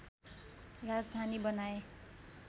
राजधानी बनाए